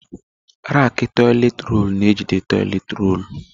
Rakị toịletị rọlụ na ejide toịletị rọlụ.